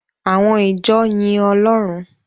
Àwọn ìjọ yin Ọlọ́run.